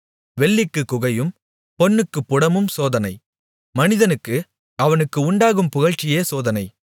வெள்ளிக்குக் குகையும் பொன்னுக்குப் புடமும் சோதனை மனிதனுக்கு அவனுக்கு உண்டாகும் புகழ்ச்சியே சோதனை